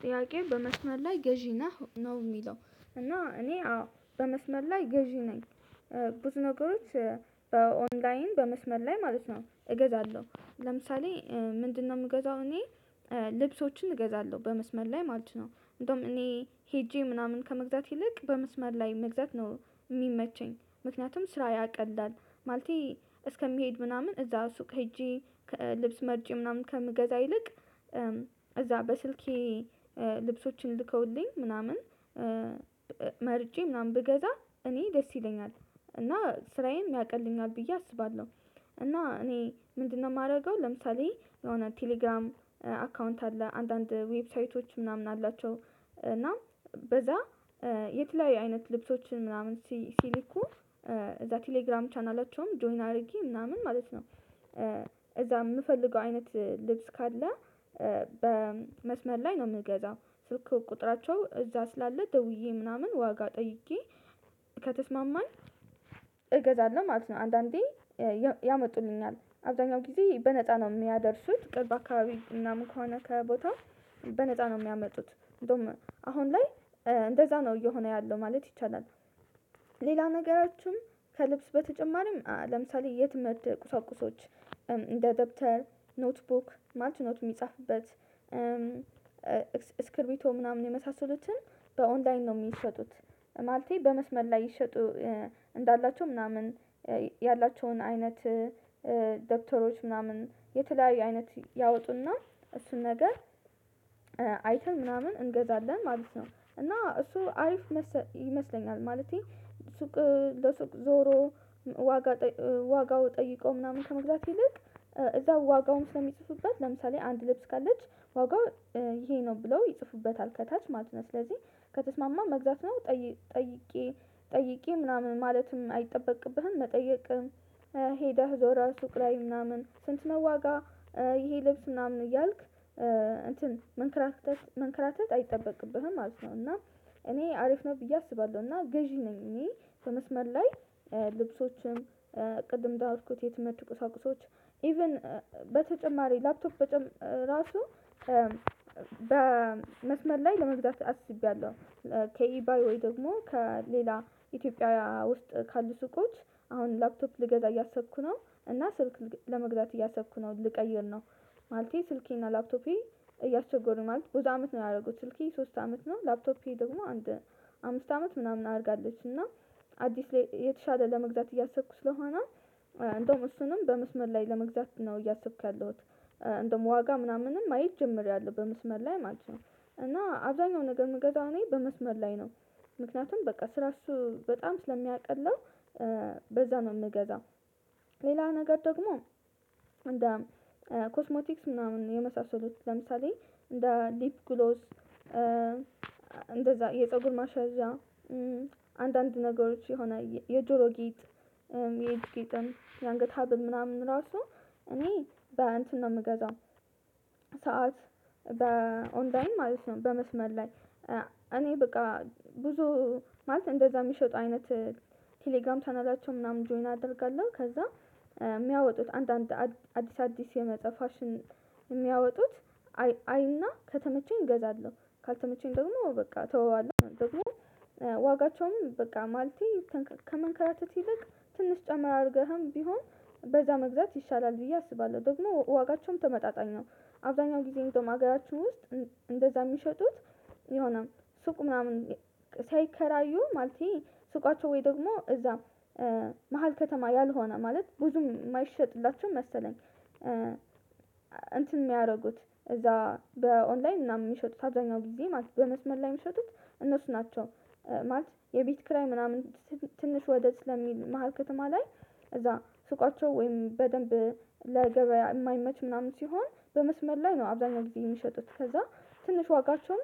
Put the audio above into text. ጥያቄው በመስመር ላይ ገዢ ነህ ነው የሚለው እና እኔ አዎ በመስመር ላይ ገዢ ነኝ። ብዙ ነገሮች በኦንላይን በመስመር ላይ ማለት ነው እገዛለሁ ለምሳሌ ምንድነው የምገዛው እኔ? ልብሶችን እገዛለሁ በመስመር ላይ ማለት ነው። እንደውም እኔ ሄጄ ምናምን ከመግዛት ይልቅ በመስመር ላይ መግዛት ነው የሚመቸኝ ምክንያቱም ስራ ያቀላል። ማለቴ እስከሚሄድ ምናምን እዛ ሱቅ ሄጄ ልብስ መርጬ ምናምን ከምገዛ ይልቅ እዛ በስልኬ ልብሶችን ልከውልኝ ምናምን መርጬ ምናምን ብገዛ እኔ ደስ ይለኛል እና ስራዬን ያቀለኛል ብዬ አስባለሁ። እና እኔ ምንድነው የማደርገው ለምሳሌ የሆነ ቴሌግራም አካውንት አለ አንዳንድ ዌብሳይቶች ምናምን አላቸው እና በዛ የትላይ አይነት ልብሶችን ምናምን ሲልኩ እዛ ቴሌግራም ቻናላቸውም ጆይን አድርጊ ምናምን ማለት ነው። እዛ የምፈልገው አይነት ልብስ ካለ በመስመር ላይ ነው የምገዛው ስልክ ቁጥራቸው እዛ ስላለ ደውዬ ምናምን ዋጋ ጠይቄ ከተስማማኝ እገዛለሁ ማለት ነው አንዳንዴ ያመጡልኛል አብዛኛው ጊዜ በነፃ ነው የሚያደርሱት ቅርብ አካባቢ ምናምን ከሆነ ከቦታው በነፃ ነው የሚያመጡት እንደውም አሁን ላይ እንደዛ ነው እየሆነ ያለው ማለት ይቻላል። ሌላ ነገራችሁም ከልብስ በተጨማሪም ለምሳሌ የትምህርት ቁሳቁሶች እንደ ደብተር ኖትቡክ ማች ኖት የሚጻፍበት ስክሪብቶ ምናምን የመሳሰሉትን በኦንላይን ነው የሚሸጡት ማለቴ በመስመር ላይ ይሸጡ እንዳላቸው ምናምን ያላቸውን አይነት ደብተሮች ምናምን የተለያዩ አይነት ያወጡና እሱን ነገር አይተን ምናምን እንገዛለን ማለት ነው። እና እሱ አሪፍ ይመስለኛል ማለቴ ሱቅ ለሱቅ ዞሮ ዋጋ ዋጋው ጠይቀው ምናምን ከመግዛት ይልቅ እዛ ዋጋውም ስለሚጽፉበት ለምሳሌ አንድ ልብስ ካለች ዋጋው ይሄ ነው ብለው ይጽፉበታል ከታች ማለት ነው ስለዚህ ከተስማማ መግዛት ነው። ጠይቄ ጠይቄ ምናምን ማለትም አይጠበቅብህም መጠየቅም ሄደህ ዞራ ሱቅ ላይ ምናምን ስንት ነው ዋጋ ይሄ ልብስ ምናምን እያልክ እንትን መንከራተት መንከራተት አይጠበቅብህም ማለት ነው። እና እኔ አሪፍ ነው ብዬ አስባለሁ እና ገዢ ነኝ እኔ በመስመር ላይ ልብሶችም ቅድም እዳርኩት የትምህርት ቁሳቁሶች ኢቭን በተጨማሪ ላፕቶፕ በራሱ በመስመር ላይ ለመዝጋት አስቢያለሁ። ከኢባይ ወይ ደግሞ ከሌላ ኢትዮጵያውያ ውስጥ ካሉ ሱቆች አሁን ላፕቶፕ ልገዛ እያሰብኩ ነው እና ስልክ ለመግዛት እያሰብኩ ነው ልቀይር ነው። ማለቴ ስልኬና ላፕቶፔ እያስቸጎሩ ማለት ብዙ አመት ነው ያደረጉት ስልኬ ሶስት አመት ነው ላፕቶፔ ደግሞ አንድ አምስት አመት ምናምን አድርጋለች እና አዲስ ላይ የተሻለ ለመግዛት እያሰብኩ ስለሆነ እንደውም እሱንም በምስመር ላይ ለመግዛት ነው እያሰብክ ያለሁት እንደውም ዋጋ ምናምንም ማየት ጀምሪያለሁ በመስመር ላይ ማለት ነው። እና አብዛኛው ነገር የምገዛው እኔ በመስመር ላይ ነው ምክንያቱም በቃ ስራ እሱ በጣም ስለሚያቀለው በዛ ነው የምገዛው። ሌላ ነገር ደግሞ እንደ ኮስሞቲክስ ምናምን የመሳሰሉት ለምሳሌ እንደ ሊፕ ግሎስ እንደዛ የፀጉር ማሳያዣ አንዳንድ ነገሮች የሆነ የጆሮ ጌጥ የጌጥን የአንገት ሀብል ምናምን ራሱ እኔ በእንትን ነው የምገዛው። ሰዓት በኦንዳን ማለት ነው በመስመር ላይ እኔ በቃ ብዙ ማለት እንደዛ የሚሸጡ አይነት ቴሌግራም ቻናላቸው ምናምን ጆይን አደርጋለሁ ከዛ የሚያወጡት አንዳንድ አዲስ አዲስ የመጣ ፋሽን የሚያወጡት አይና ከተመቸኝ ገዛለሁ ካልተመቸኝ ደግሞ በቃ ተወዋለሁ ደግሞ ዋጋቸውም በቃ ማለቴ ከመንከራተት ይልቅ ትንሽ ጨምር አድርገህም ቢሆን በዛ መግዛት ይሻላል ብዬ አስባለሁ ደግሞ ዋጋቸውም ተመጣጣኝ ነው። አብዛኛው ጊዜ እንደውም ሀገራችን ውስጥ እንደዛ የሚሸጡት የሆነ ሱቅ ምናምን ሳይከራዩ ማለቴ ሱቃቸው ወይ ደግሞ እዛም መሃል ከተማ ያልሆነ ማለት ብዙም የማይሸጥላቸው መሰለኝ እንትን የሚያደርጉት እዛ በኦንላይን ምናምን የሚሸጡት አብዛኛው ጊዜ ማለት በመስመር ላይ የሚሸጡት እነሱ ናቸው። ማለት የቤት ክራይ ምናምን ትንሽ ወደድ ስለሚል መሃል ከተማ ላይ እዛ ሱቃቸው ወይም በደንብ ለገበያ የማይመች ምናምን ሲሆን በመስመር ላይ ነው አብዛኛው ጊዜ የሚሸጡት ከዛ ትንሽ ዋጋቸውም